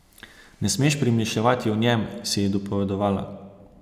Ne smeš premišljevati o njem, si je dopovedovala.